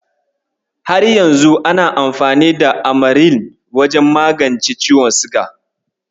Har yanzu ana amfani da Amaril wajen magance ciwon siga.